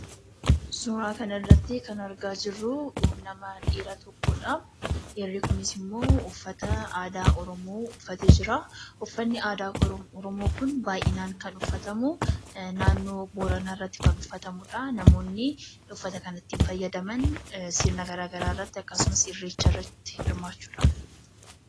Suuraa kana irratti kan argaa jirruu, nama dhiira tokkodhaa. Dhiirri kunis immoo uffata aadaa oromoo uffatee jiraa. Uffanni aadaa oromoo Kun baayyinaan kan uffatamuu , naannoo booranaarratti kan uffatamudha. Namoonni uffata kanatti fayyadaman sirna garaagaraa irratti akkasumas irreecha irratti hirmaachuudhaafi.